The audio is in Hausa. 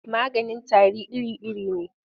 Maganin tari iri-iri ne.